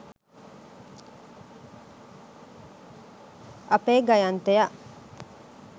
අපේ ගයන්තයා